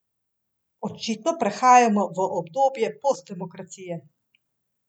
Očitno prehajamo v obdobje postdemokracije.